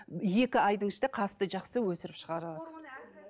екі айдың ішінде қасты жақсы өсіріп шығара алады